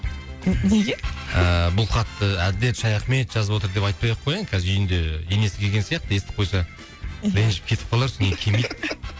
мхм неге ыыы бұл хатты әділет шаяхмет жазып отыр деп айтпай ақ кояйын қазір үйінде енесі келген сияқты естіп қойса ренжіп кетіп қалар